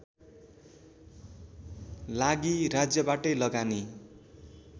लागि राज्यबाटै लगानी